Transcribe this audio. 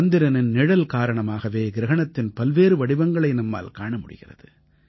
சந்திரனின் நிழல் காரணமாகவே கிரஹணத்தின் பல்வேறு வடிவங்களை நம்மால் காண முடிகிறது